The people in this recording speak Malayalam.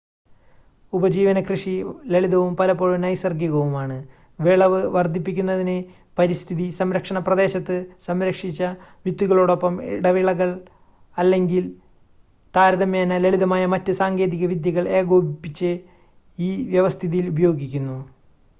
ഉപജീവന കൃഷി ലളിതവും പലപ്പോഴും നൈസർഗ്ഗികവുമാണ് വിളവ് വർദ്ധിപ്പിക്കുന്നതിന് പരിസ്ഥിതി സംരക്ഷണ പ്രദേശത്ത് സംരക്ഷിച്ച വിത്തുകളോടൊപ്പം ഇടവിളകൾ അല്ലെങ്കിൽ താരതമ്യേന ലളിതമായ മറ്റ് സാങ്കേതിക വിദ്യകൾ ഏകോപിപ്പിച്ച് ഈ വ്യവസ്ഥിതിയിൽ ഉപയോഗിക്കുന്നു